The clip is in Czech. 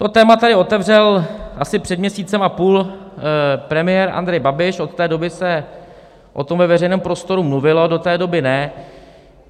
To téma tady otevřel asi před měsícem a půl premiér Andrej Babiš, od té doby se o tom ve veřejném prostoru mluvilo, do té doby ne.